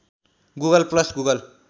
Google plus Google